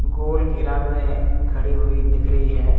गोल घेरा में खड़ी हुई दिख रही है।